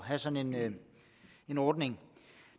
have sådan en ordning